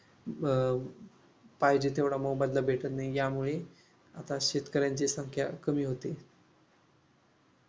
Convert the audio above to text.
अं पाहिजे तेवढा मोबदला भेटत नाही. यामुळे आता शेतकऱ्यांची संख्या कमी होत आहे.